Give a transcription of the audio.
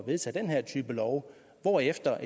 vedtage den her type lov hvorefter